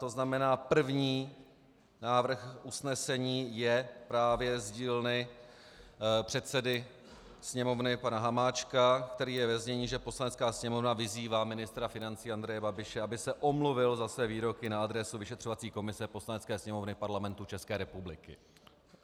To znamená, první návrh usnesení je právě z dílny předsedy Sněmovny pana Hamáčka, který je ve znění, že Poslanecká sněmovna vyzývá ministra financí Andreje Babiše, aby se omluvil za své výroky na adresu vyšetřovací komise Poslanecké sněmovny Parlamentu České republiky.